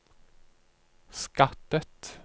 skattet